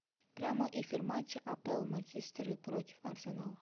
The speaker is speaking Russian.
прямой эфир матча апл манчестер против арсенала